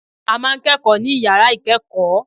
A ma ń kẹ́kọ̀ọ́ ní yàrá ìkẹ́kọ̀ọ́.